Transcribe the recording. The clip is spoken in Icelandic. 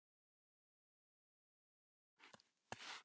Elsku Jóhann.